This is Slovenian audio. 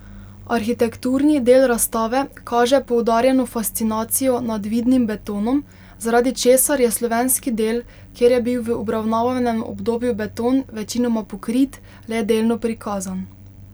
Arhitekturni del razstave kaže poudarjeno fascinacijo nad vidnim betonom, zaradi česar je slovenski del, kjer je bil v obravnavanem obdobju beton večinoma pokrit, le delno prikazan.